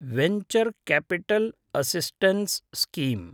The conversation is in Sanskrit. venture capital assistance scheme